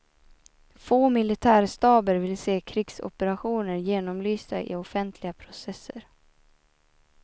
Få militärstaber vill se krigsoperationer genomlysta i offentliga processer.